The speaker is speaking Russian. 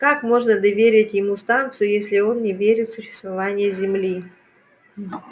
как можно доверить ему станцию если он не верит в существование земли